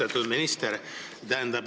Austatud minister!